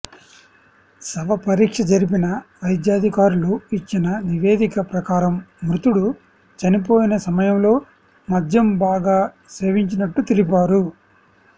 శవ పరీక్ష జరిపిన వైద్యాధికారులు ఇచ్చిన నివేదిక ప్రకారం మృతుడు చనిపోయిన సమయంలో మద్యం బాగా సేవించినట్టు తెలిపారు